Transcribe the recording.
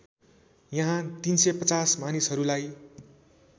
यहाँ ३५० मानिसहरूलाई